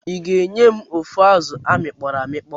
Iga enyem ofu azụ amikpoọ amikpọ?